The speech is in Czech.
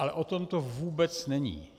Ale o tom to vůbec není.